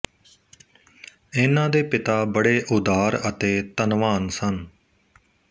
ਇਨ੍ਹਾਂ ਦੇ ਪਿਤਾ ਬੜੇ ਉਦਾਰ ਅਤੇ ਧੰਨਵਾਨ ਸਨ